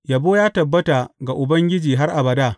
Yabo ya tabbata ga Ubangiji har abada!